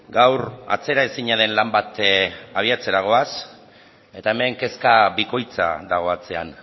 gaur atzeraezina den lan bat abiatzera goaz eta hemen kezka bikoitza dago atzean